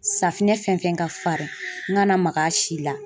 Safinɛ fɛn fɛn ka farin n kana mak'a si la